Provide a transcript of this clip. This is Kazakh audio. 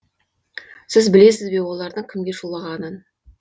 сіз білесіз бе олардың кімге шулағанын